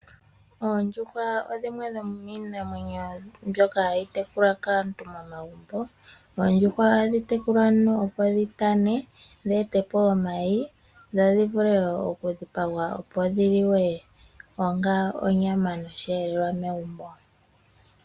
Oondjuhwa odho dhimwe dhomiimamwenyo mbyoka hayi tekulwa kaantu momagumbo. Oondjuhwa ohadhi tekulilwa, opo dhitane dheetepo omayi dho dhivule okudhipagwa dhi ninge onyama nosheelelwa megumbo.